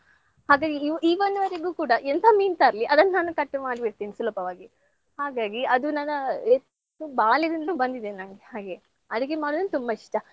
ಹಾಗಾಗಿ ಕೂಡಾ ಎಂತ ಮೀನ್ ತರ್ಲಿ ಅದನ್ನ್ ನಾನ್ cut ಮಾಡಿಬಿಡ್ತೀನಿ ಸುಲಭವಾಗಿ ಹಾಗಾಗಿ ಅದು ನನ್ನ ಬಾಲ್ಯದಿಂದ್ಲು ಬಂದಿದೆ ನಂಗ್ ಹಾಗೆ ಅಡುಗೆ ಮಾಡೋದಂದ್ರೆ ತುಂಬಾ ಇಷ್ಟ.